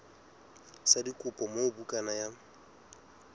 sa dikopo moo bukana ya